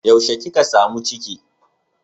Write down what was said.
Yaushe kika samu ciki?